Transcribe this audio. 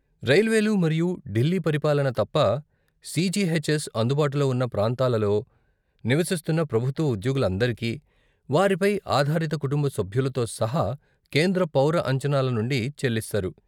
రైల్వేలు మరియు ఢిల్లీ పరిపాలన తప్ప, సీజీహెచ్ఎస్ అందుబాటులో ఉన్న ప్రాంతాలలో నివసిస్తున్న ప్రభుత్వ ఉద్యోగులందరికీ, వారిపై ఆధారిత కుటుంబ సభ్యులతో సహా, కేంద్ర పౌర అంచనాల నుండి చెల్లిస్తారు